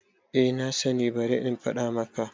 A nasani bari in faɗa maka